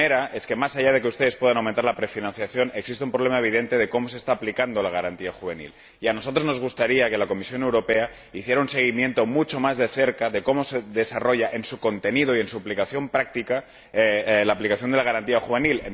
La primera es que, más allá de que ustedes puedan aumentar la prefinanciación, existe un problema evidente de cómo se está aplicando la Garantía Juvenil, y a nosotros nos gustaría que la Comisión Europea hiciera un seguimiento, mucho más de cerca, de cómo se desarrolla en su contenido y en su aplicación práctica la Garantía Juvenil.